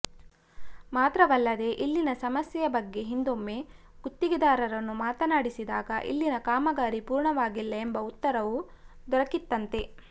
ಮಾತ್ರವಲ್ಲದೇ ಇಲ್ಲಿನ ಸಮಸ್ಯೆಯ ಬಗ್ಗೆ ಹಿಂದೊಮ್ಮೆ ಗುತ್ತಿಗೆದಾರರನ್ನು ಮಾತನಾಡಿಸಿದಾಗ ಇಲ್ಲಿನ ಕಾಮಗಾರಿ ಪೂರ್ಣವಾಗಿಲ್ಲ ಎಂಬ ಉತ್ತರವೂ ದೊರಕಿತ್ತಂತೆ